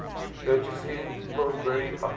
purchasing pillsbury options